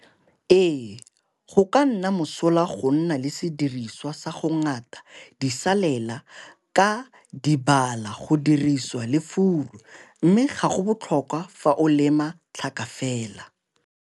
Ee, go ka nna mosola go nna le sediriswa sa go ngata disalela ka dibala go dirisiwa e le furu, mme ga go botlhokwa fa o lema tlhaka fela.